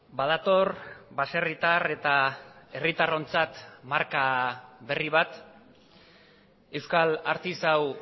badator baserritar eta herritarrontzat marka berri bat euskal artisau